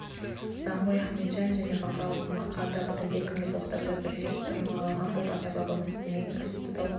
даңғой ахметжан мен бақырауық мақа да әлдекімді боқтап жатыр жер тырмалаған боп ата-бабамыз істемеген кәсіпті тауыпты